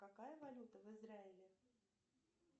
какая валюта в израиле